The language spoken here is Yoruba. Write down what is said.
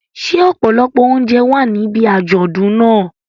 Ṣé ọ̀pọ̀lọpọ̀ oúnjẹ wà níbi àjọ̀dún náà?